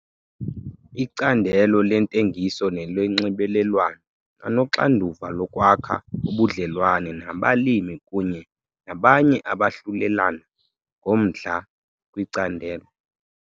Icandelo leeNtengiso neloNxibelelwano anoxanduva lokwakha ubudlelwane nabalimi kunye nabanye abahlulelana ngomdla kwicandelo.